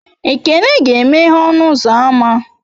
Ekene ga-emeghe ọnụ ụzọ ámá